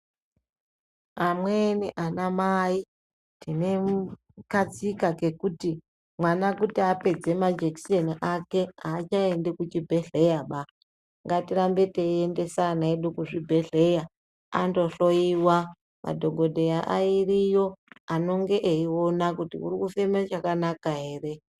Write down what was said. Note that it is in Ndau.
Amweni anamai tinemm katsika kekuti mwana kuti apedze majekiseni ake aachaendi kuchibhedhleyaba. Ngatirambe tiendese ana edu kuzvibhedhleya ,andohloiwa. Madhokodheya ariyo anonge eiona kuti uri kufeme chakanaka ere.